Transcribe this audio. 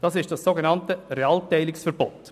das ist das sogenannte Realteilungsverbot.